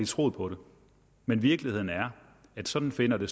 troet på det men virkeligheden er at sådan finder det